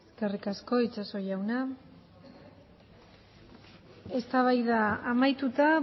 eskerrik asko itxaso jauna eztabaida amaituta